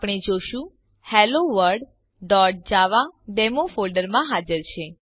આપણે જોશું helloworldજાવા ડેમો ફોલ્ડરમાં હાજર છે